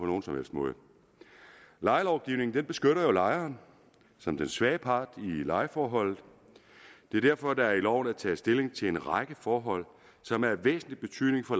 nogen som helst måde lejelovgivningen beskytter jo lejeren som den svage part i lejeforholdet det er derfor at der i loven er taget stilling til en række forhold som er af væsentlig betydning for